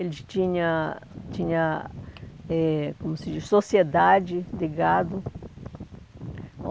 Ele tinha tinha, eh como se diz, sociedade de gado.